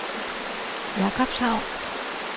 Jakobshavn